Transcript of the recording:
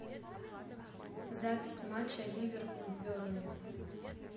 запись матча ливерпуль бернли